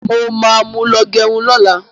Mo ma mú lọ gẹrun lọ́la.